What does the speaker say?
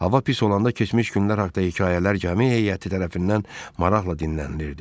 Hava pis olanda keçmiş günlər haqda hekayələr gəmi heyəti tərəfindən maraqla dinlənilirdi.